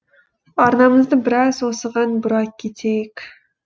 арнамызды біраз осыған бұра кетейік